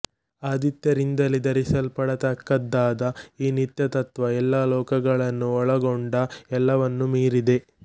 ಆದಿತ್ಯರಿಂದಲೇ ಧರಿಸಲ್ಪಡತಕ್ಕದ್ದಾದ ಈ ನಿತ್ಯತತ್ತ್ವ ಎಲ್ಲ ಲೋಕಗಳನ್ನೂ ಒಳಗೊಂಡು ಎಲ್ಲವನ್ನೂ ಮೀರಿದೆ